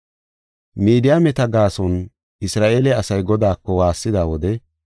Midiyaameta gaason Isra7eele asay Godaako waassida wode,